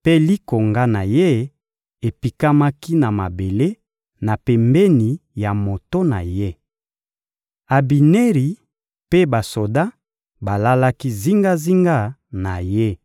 mpe likonga na ye epikamaki na mabele, na pembeni ya moto na ye. Abineri mpe basoda balalaki zingazinga na ye.